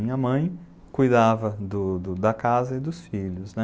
Minha mãe cuidava do, do, da casa e dos filhos, né?